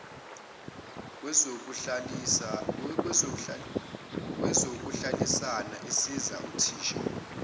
kwezokuhlalisana isiza uthisha